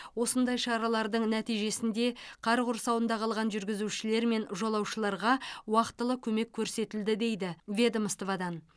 осындай шаралардың нәтижесінде қар құрсауында қалған жүргізушілер мен жолаушыларға уақтылы көмек көрсетілді дейді ведомстводан